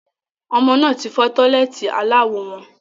Ọmọ náà tí fọ́ tọ́lẹ́ẹ́tì aláwo wọn